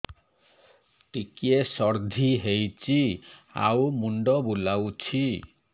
ଟିକିଏ ସର୍ଦ୍ଦି ହେଇଚି ଆଉ ମୁଣ୍ଡ ବୁଲାଉଛି